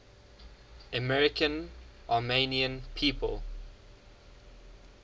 american armenian people